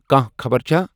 کانٛہہ خبر چھا؟